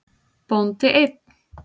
Bóndi einn.